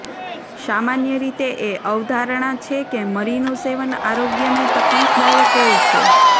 સામાન્ય રીતે એ અવધારણા છે કે મરીનું વધુ સેવન આરોગ્યને તકલીફદાયક હોય છે